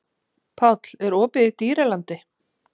Páll, er opið í Dýralandi?